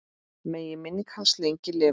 Megi minning hans lengi lifa.